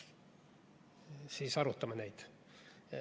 Siis arutame neid.